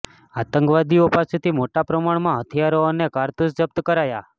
આતંકવાદીઓ પાસેથી મોટા પ્રમાણમાં હથિયારો અને કારતૂસ જપ્ત કરાયા